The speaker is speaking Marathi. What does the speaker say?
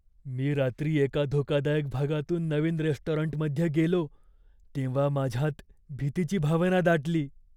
मी रात्री एका धोकादायक भागातून नवीन रेस्टॉरंटमध्ये गेलो तेव्हा माझ्यात भीतीची भावना दाटली.